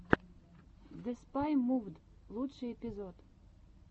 деспай мувд лучший эпизод